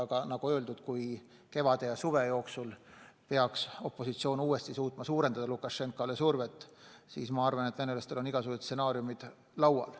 Aga nagu öeldud, kui kevade ja suve jooksul peaks opositsioon uuesti suutma Lukašenkale rohkem survet avaldada, siis ma arvan, et venelastel on igasugused stsenaariumid laual.